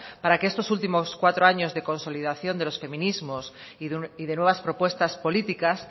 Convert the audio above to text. para que estos últimos cuatro años de consolidación de los feminismos y de nuevas propuestas políticas